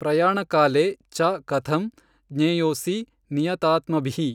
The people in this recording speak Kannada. ಪ್ರಯಾಣಕಾಲೇ ಚ ಕಥಂ ಜ್ಞೇಯೋಽಸಿ ನಿಯತಾತ್ಮಭಿಃ।